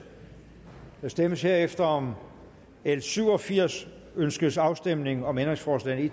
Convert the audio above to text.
der stemmes herefter om l syv og firs ønskes afstemning om ændringsforslag